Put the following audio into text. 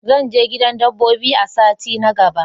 Zan je gidan dabbobi a sati na gaba.